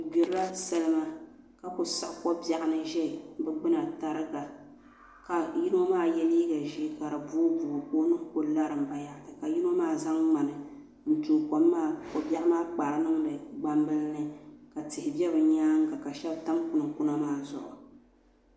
Bi gbirila salima ka ku siɣi ko biɛɣu ni ʒɛ bi gbina tariga ka yino maa yɛ liiga ʒiɛ ka di booi booi ka o nuhi ku larim bayaɣati ka yino maa zaŋ ŋmani n tooi ko biɛɣu maa kpaari niŋdi gbambili ni ka tihi bɛ bi nyaanga ka shab tam kunkuna maa zuɣu